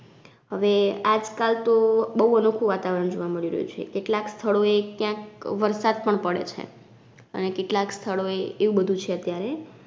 હવે આજ કાલ તો બઉ અનોખુ વાતાવરણ જોવા મળી રહ્યું છે કેટલાક સ્થળોએ ક્યાંક વરસાદ પણ પડે છે અને કેટલાક સ્થળોએ એવું બધુ છે અત્યારે